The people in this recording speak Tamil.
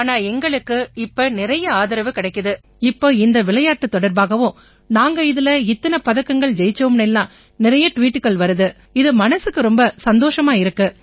ஆனா எங்களுக்கு நிறைய ஆதரவு கிடைக்குது இப்ப இந்த விளையாட்டுத் தொடர்பாவும் நாங்க இதில இத்தனை பதக்கங்கள் ஜெயிச்சோம்னு எல்லாம் நிறைய ட்வீட்டுகள் வருது இது மனசுக்கு ரொம்ப சந்தோஷமா இருக்கு